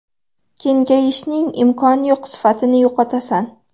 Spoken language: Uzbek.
Kengayishning imkoni yo‘q sifatni yo‘qotasan.